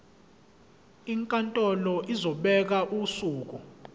inkantolo izobeka usuku